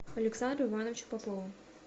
александру ивановичу попову